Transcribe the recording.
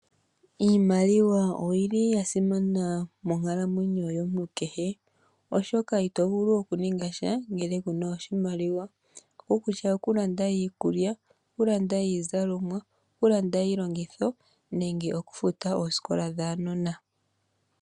Iimaliwa oyi li ya simana monkalamwenyo yomuntu kehe, oshoka ito vulu okuninga sha ngele ku na iimaliwa, okukutya okulanda iikulya, okulanda iizalomwa, okulanda iilongitho nenge okufuta oosikola dhaanona.